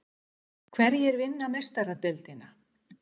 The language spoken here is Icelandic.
Hverjir vinna Meistaradeildina?